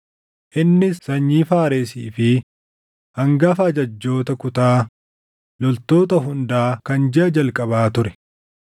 Innis sanyii Faaresii fi hangafa ajajjoota kutaa loltoota hundaa kan jiʼa jalqabaa ture.